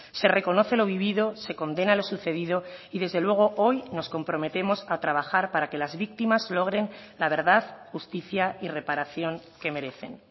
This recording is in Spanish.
se reconoce lo vivido se condena lo sucedido y desde luego hoy nos comprometemos a trabajar para que las víctimas logren la verdad justicia y reparación que merecen